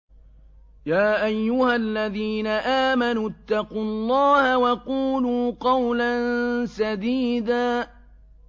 يَا أَيُّهَا الَّذِينَ آمَنُوا اتَّقُوا اللَّهَ وَقُولُوا قَوْلًا سَدِيدًا